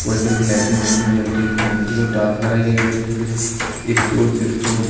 white colour कि lighting वाईटिंग जलते हुए दिखाई दे रही है टाइल्स लगाई गई स्टूल उस्तूल--